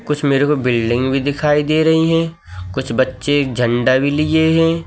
कुछ मेरे को बिल्डिंग भी दिखाई दे रही है। कुछ बच्चे झंडा भी लिए हैं।